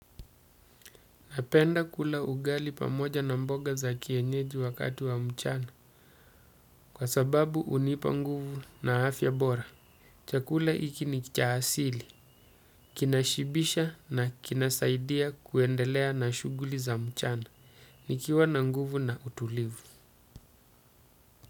Napenda kula ugali pamoja na mboga za kienyeji wakati wa mchana kwa sababu hunipa nguvu na afya bora. Chakula hiki ni cha asili. Kinashibisha na kinasaidia kuendelea na shuguli za mchana. Nikiwa na nguvu na utulivu.